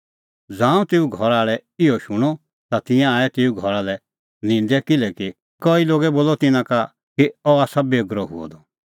ज़ांऊं तेऊए घरा आल़ै इहअ शूणअ ता तिंयां आऐ तेऊ घरा लै निंदै किल्हैकि कई लोगै बोलअ तिन्नां का कि सह आसा बेगरअ हुअ द